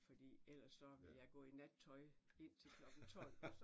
Fordi ellers så ville jeg gå i nattøj indtil klokken 12